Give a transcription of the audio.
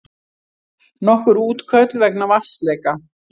Nokkur útköll vegna vatnsleka